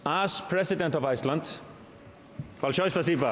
Rússlands í